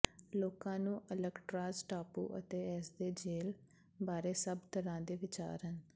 ਲੋਕਾਂ ਨੂੰ ਅਲਕਟ੍ਰਾਜ਼ ਟਾਪੂ ਅਤੇ ਇਸਦੀ ਜੇਲ੍ਹ ਬਾਰੇ ਸਭ ਤਰ੍ਹਾਂ ਦੇ ਵਿਚਾਰ ਹਨ